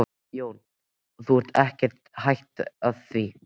Jón: Og þú ert ekkert hætt því?